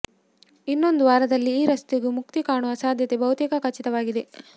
ಇನ್ನೊಂದು ವಾರದಲ್ಲಿ ಈ ರಸ್ತೆಗೂ ಮುಕ್ತಿ ಕಾಣುವ ಸಾಧ್ಯತೆ ಬಹುತೇಕ ಖಚಿತವಾಗಿದೆ